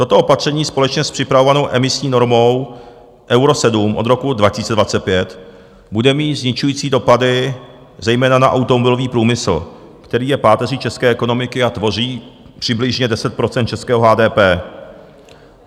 Toto opatření společně s připravovanou emisní normou Euro 7 od roku 2025 bude mít zničující dopady zejména na automobilový průmysl, který je páteří české ekonomiky a tvoří přibližně 10 % českého HDP.